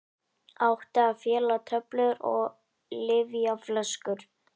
Átti að fela töflur og lyfjaflöskur